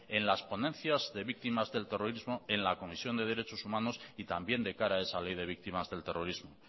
en las ponencias de víctimas del terrorismo en la comisión de derechos humanos y también de cara a esa ley de víctimas del terrorismo